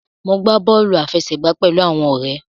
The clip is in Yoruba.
Mo gbà bóòlù àfẹsẹ̀gbá pẹlú àwọn òré.